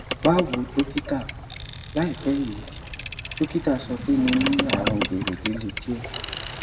báwo dọkítà láìpẹ yìí dọkítà sọ pé mo ní àrùn gìrì líle díẹ